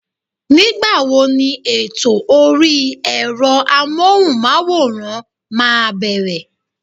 Nígbà wo ni ètò orí ẹ̀rọ Amóhùnmáwòrán máa bẹ̀rẹ̀?